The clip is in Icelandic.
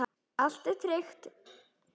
Allt er tryggt.